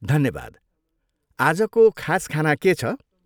धन्यवाद। आजको खास खाना के छ?